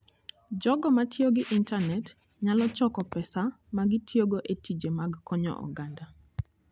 Jogo ma tiyo gi intanet nyalo choko pesa ma gitiyogo e tije mag konyo oganda.